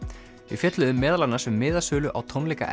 við fjölluðum meðal annars um miðasölu á tónleika